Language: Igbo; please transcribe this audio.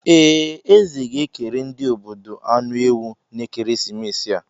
Ee, eze ga-ekere ndị obodo anụ ewu n'ekeresimesi a.